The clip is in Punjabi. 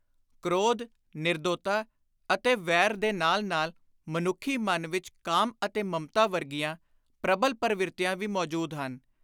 ਕ੍ਰੋਧ, ਨਿਰਦੋਤਾ ਅਤੇ ਵੈਰ ਦੇ ਨਾਲ ਨਾਲ ਮਨੁੱਖੀ ਮਨ ਵਿੱਚ ਕਾਮ ਅਤੇ ਮਮਤਾ ਵਰਗੀਆਂ ਪ੍ਰਬਲ ਪਰਵਿਰਤੀਆਂ ਵੀ ਮੌਜੂਦ ਹਨ।